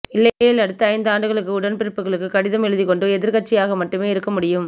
இல்லையேல் அடுத்த ஐந்து ஆண்டுகள் உடன்பிறப்புகளுக்கு கடிதம் எழுதிக் கொண்டு எதிர்க்கட்சியாக மட்டுமே இருக்க முடியும்